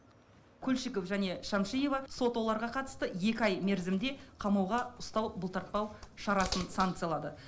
кульчиков және шәмшиева сот оларға қатысты екі ай мерзімде қамауға ұстау бұлтартпау шарасын санкциялады